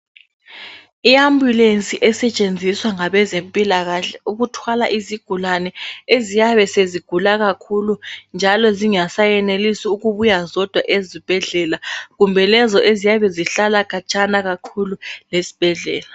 IAmbulance esetshenziswa ngabezempilakahle ukuthwala izigulane eziyabe sezigula kakhulu njalo zingasayenelisi ukubuya zodwa ezibhedlela kumbe lezi eziyabe zihlala khatshana kakhulu lesibhedlela.